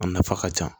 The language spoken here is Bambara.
A nafa ka ca